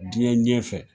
Diɲɛ ɲɛfɛ